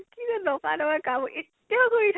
কিজে নকৰা নকৰা কাম এতিয়াও কৰি থাকো